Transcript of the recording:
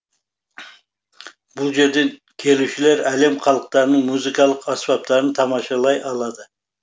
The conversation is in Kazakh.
бұл жерден келушілер әлем халықтарының музыкалық аспаптарын тамашалай алады